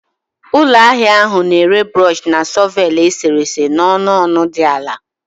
Ụlọ ahịa ahụ na-ere brush na shọvel eserese n'ọnụ ọnụ dị ala